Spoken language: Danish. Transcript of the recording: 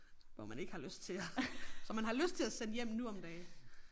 Hvor man ikke har lyst til som man har lyst til at sende hjem nu om dage